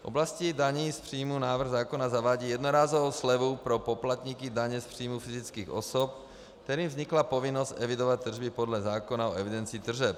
V oblasti daní z příjmů návrh zákona zavádí jednorázovou slevu pro poplatníky daně z příjmů fyzických osob, kterým vznikla povinnost evidovat tržby podle zákona o evidenci tržeb.